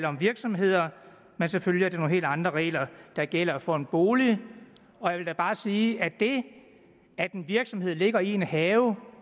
om virksomheder men selvfølgelig er det nogle helt andre regler der gælder for en bolig og jeg vil da bare sige at det at en virksomhed ligger i en have